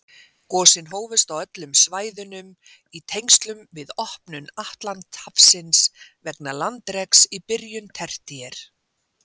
Gosin hófust á öllum svæðunum í tengslum við opnun Atlantshafsins vegna landreks í byrjun tertíer.